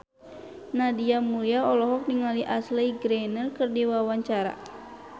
Nadia Mulya olohok ningali Ashley Greene keur diwawancara